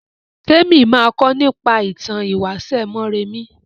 Témi ma kọ nípa ìtàn ìwáṣẹ̀ Mọ́rẹmí